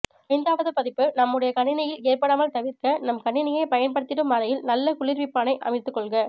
ஐந்தாவாது பதிப்பு நம்முடைய கணினியில் ஏற்படாமல் தவிர்க்க நாம் கணினியை பயன்படுத்திடும் அறையில் நல்ல குளிர்விப்பானை அமைத்துகொள்க